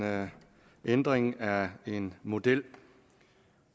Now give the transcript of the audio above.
ændring af en model